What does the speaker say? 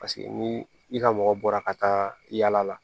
Paseke ni i ka mɔgɔ bɔra ka taa yala la